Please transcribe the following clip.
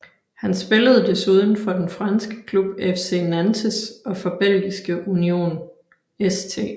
Han spillede desuden for den franske klub FC Nantes og for belgiske Union St